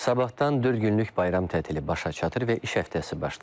Sabahtan dörd günlük bayram tətili başa çatır və iş həftəsi başlayır.